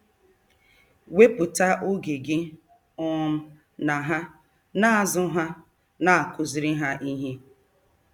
Wepụta oge gị um na ha, na-azụ ha, na-akụziri ha ihe.